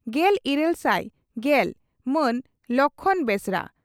᱾ᱜᱮᱞᱤᱨᱟᱹᱞ ᱥᱟᱭ ᱜᱮᱞ ᱹ ᱢᱟᱱ ᱞᱚᱠᱷᱢᱚᱬ ᱵᱮᱥᱨᱟ